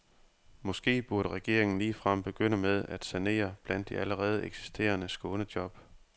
Måske burde regeringen ligefrem begynde med at sanere blandt de allerede eksisterende skånejob.